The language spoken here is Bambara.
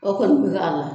O kɔni bɛ k'a la